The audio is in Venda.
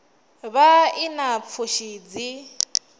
vha i na pfushi dzi